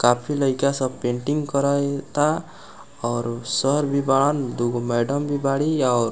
काफी लइका सब पेंटिंग करय ता और सर भी बाड़न और दुगो मेडम भी बाड़ी औ --